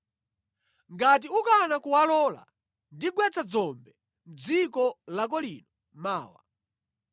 Ngati ukana kuwalola, ndigwetsa dzombe mʼdziko lako lino mawa.